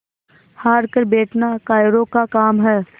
हार कर बैठना कायरों का काम है